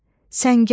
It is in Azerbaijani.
Səngək,